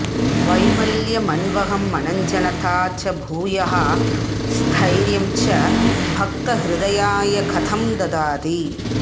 वैमल्यमन्वहमनञ्जनता च भूयः स्थैर्यं च भक्तहृदयाय कथं ददाति